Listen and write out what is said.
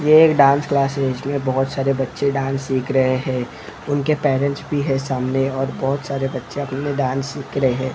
ये एक dance classes में बहोत सारे बच्चे डांस सीख रहे हैं उनके पैरेंट्स भी है सामने और बहोत सारे बच्चे अपने डांस सीख रहे--